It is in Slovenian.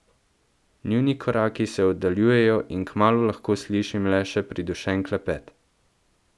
Njuni koraki se oddaljujejo in kmalu lahko slišim le še pridušen klepet.